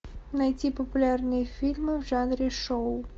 найти популярные фильмы в жанре шоу